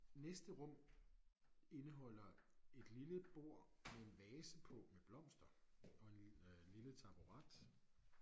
Næste rum indeholder et lille bord med en vase på med blomster og en øh lille taburet